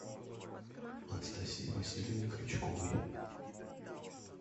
анастасии васильевне крючковой